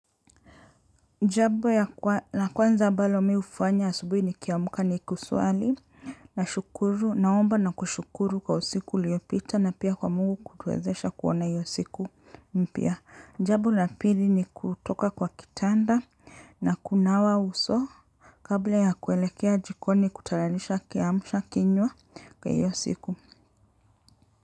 Jambo ya kwanza la kwanza ambalo mi hufanya asubuhi nikiamka ni kusali na shukuru naomba na kushukuru kwa usiku uliyopita na pia kwa Mungu kwa kutuwezesha kuona hiyo siku mpiya. Jambo la pili ni kutoka kwa kitanda na kunawa uso kabla ya kuelekea jikoni kutayarisha kiamsha kinywa kwa hiyo siku.